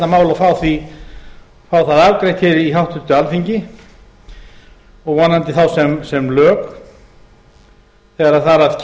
mál og fá það afgreitt hér í háttvirtu alþingi og vonandi þá sem lög þegar þar að